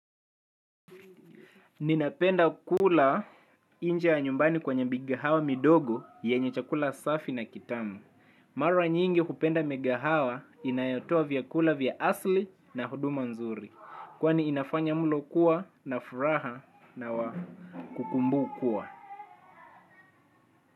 Ninapenda kula nje ya nyumbani kwenye mikahawa midogo, yenye chakula safi na kitamu. Mara nyingi hupenda migahawa inayotoa vyakula vya asili na huduma nzuri. Kwani inafanya mlo kuwa na furaha na wa kukumbukwa.